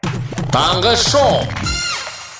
таңғы шоу